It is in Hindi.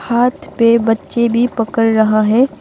हाथ पे बच्चे भी पकड़ रहा है।